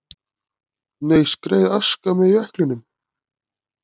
Aska skreið með jöklinum